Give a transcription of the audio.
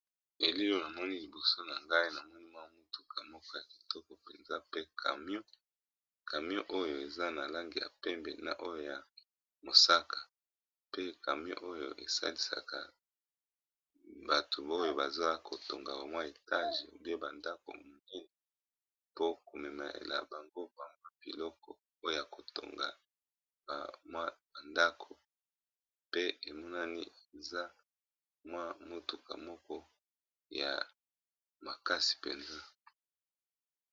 Na elili Oyo na moni MWA mutuka Kitoko ya muñene mutuka Oyo eza camion